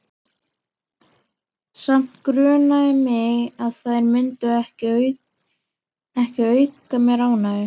Samt grunaði mig að þær myndu ekki auka mér ánægju.